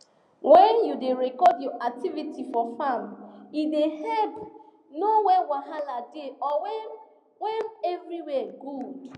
when you da record your activity for farm e da help know when wahala da or when when everywhere good